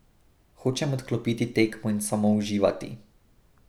Hočem odklopiti tekmo in samo uživati.